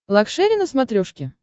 лакшери на смотрешке